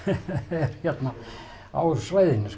er hérna á svæðinu